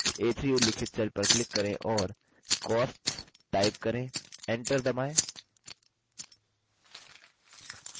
a3 उल्लिखित cell पर click करें और costs टाइप करें enter दबाएँ